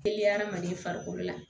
Teliya adamaden farikolo la